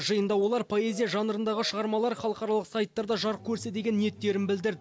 жиында олар поэзия жанрындағы шығармалар халықаралық сайттарда жарық көрсе деген ниеттерін білдір